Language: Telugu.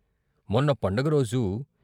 మొన్న పండగరోజు.